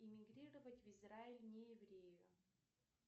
эмигрировать в израиль не еврею